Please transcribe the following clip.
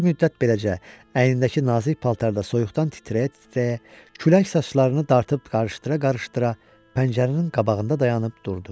Bir müddət beləcə əynindəki nazik paltarda soyuqdan titrəyə-titrəyə, külək saçlarını dartıb qarışdıra-qarışdıra pəncərənin qabağında dayanıb durdu.